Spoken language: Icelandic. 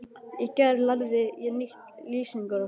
Í gær lærði ég nýtt lýsingarorð.